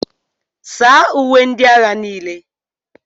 saa uwe ndị agha niile